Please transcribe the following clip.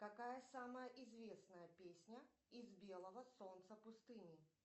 какая самая известная песня из белого солнца пустыни